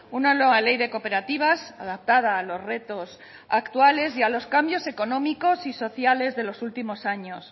una nueva ley de cooperativas adaptada a los retos actuales y a los cambios económicos y sociales de los últimos años